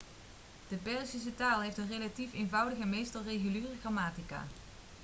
de perzische taal heeft een relatief eenvoudige en meestal reguliere grammatica